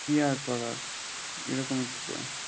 কি আর করার এরকম ই তো দিন